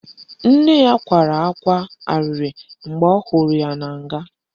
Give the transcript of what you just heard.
Nne ya kwara ákwá arịrị mgbe ọ hụrụ ya na nga